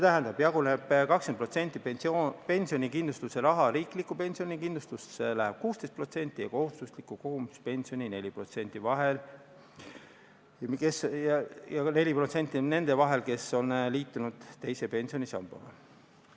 Tollest 20%-st pensionikindlustuse rahast läheb riiklikku pensionikindlustusse 16% ja kohustusliku kogumispensioni 4% jaguneb nende vahel, kes on liitunud teise pensionisambaga.